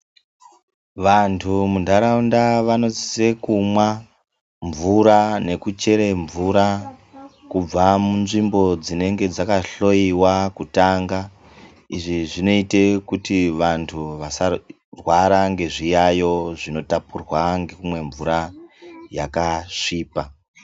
Vantu muntaraunda vanosise kumwa mvura nekuchere mvura kubva munzvimbo dzinenge dzakahloiwa kutanga. Izvi zvinote kuti vantu vasarwara ngezviyayo zvinotapurwa ngekumwa mvura yakasvipa.